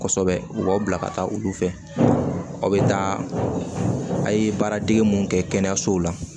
Kosɛbɛ u b'aw bila ka taa olu fɛ aw bɛ taa a ye baara dege mun kɛ kɛnɛyasow la